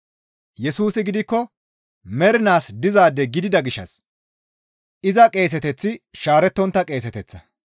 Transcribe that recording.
Yesusi gidikko mernaas dizaade gidida gishshas iza qeeseteththi shaarettontta qeeseteththa.